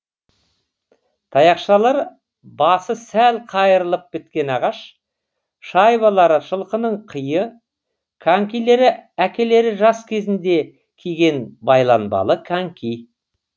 таяқшалары басы сәл қайырылып біткен ағаш шайбалары жылқының қиы конькилері әкелері жас кезінде киген байланбалы коньки